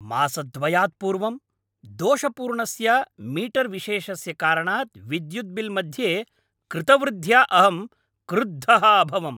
मासद्वयात् पूर्वं दोषपूर्णस्य मीटर्विशेषस्य कारणात् विद्युत् बिल् मध्ये कृतवृद्ध्या अहं क्रुद्धः अभवम्।